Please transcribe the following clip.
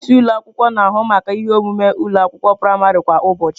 Onye isi ụlọ akwụkwọ na-ahụ maka ihe omume ụlọ akwụkwọ praịmarị kwa ụbọchị.